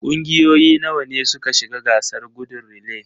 Kungiyoyi nawa ne suka shiga gasar gudun relay?